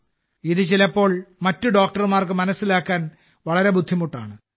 ഇത് ചിലപ്പോൾ മറ്റ് ഡോക്ടർമാർക്ക് മനസ്സിലാക്കാൻ വളരെ ബുദ്ധിമുട്ടാണ്